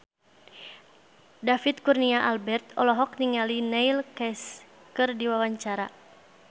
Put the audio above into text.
David Kurnia Albert olohok ningali Neil Casey keur diwawancara